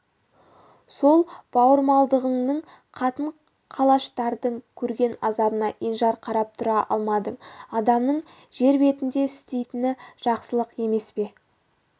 сол бауырмалдығыңнан қатын-қалаштардың көрген азабына енжар қарап тұра алмадың адамның жер бетінде істейтіні жақсылық емес пе